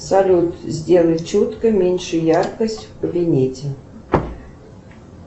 салют сделай четко меньше яркость в кабинете